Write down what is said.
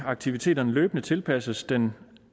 aktiviteterne løbende tilpasses den